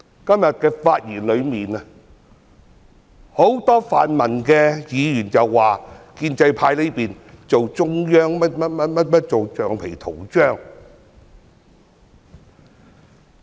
今天很多泛民議員的發言說，建制派在做中央政府的橡皮圖章。